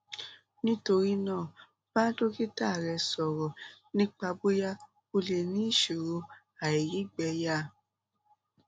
nítorí náà bá dókítà rẹ sọrọ nípa bóyá o lè ní ìṣòro àìrígbẹyà